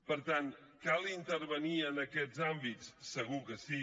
per tant cal intervenir en aquests àmbits segur que sí